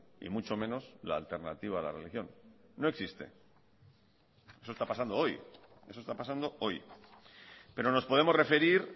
y mucho menos la alternativa a la religión no existe eso está pasando hoy eso está pasando hoy pero nos podemos referir